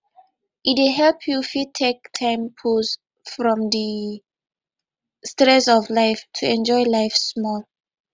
e dey help you fit take time pause from di stress of life to enjoy life small